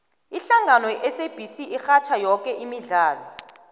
ihlangano yesabc irhatjha yoke imidlalo